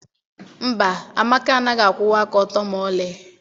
mba, Amaka anaghị akwụwa aka ọtọ ma ọlị